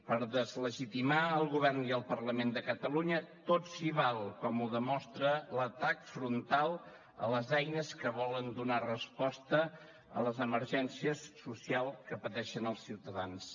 per deslegitimar el govern i el parlament de catalunya tot s’hi val com ho demostra l’atac frontal a les eines que volen donar resposta a les emergències socials que pateixen els ciutadans